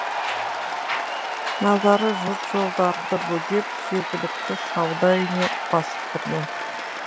наразы жұрт жолдарды бөгеп жергілікті сауда үйіне басып кірген